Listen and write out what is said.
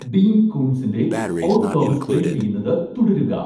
ഡീൻ കൂൺസിൻ്റെ Odd Thomas play ചെയ്യുന്നത് തുടരുക